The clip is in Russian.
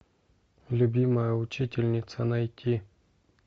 любимая учительница найти